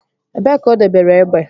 Ebee ka o debere egbe?